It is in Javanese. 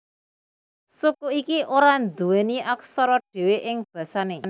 Suku iki ora nduweni aksara dhewe ing basane